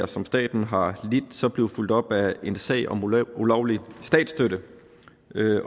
som staten har lidt som hovedaktionær blive fulgt op af en sag om ulovlig statsstøtte